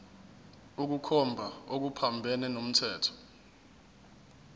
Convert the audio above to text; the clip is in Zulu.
ukukhomba okuphambene nomthetho